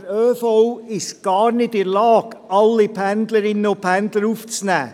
Der ÖV ist aber gar nicht in der Lage, alle Pendlerinnen und Pendler aufzunehmen.